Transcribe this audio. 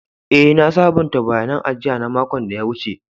Eh, na sabunta bayanin ajia na makon da ya wuce.